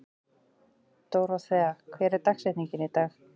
Dórothea, hver er dagsetningin í dag?